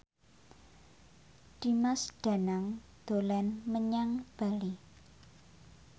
Dimas Danang dolan menyang Bali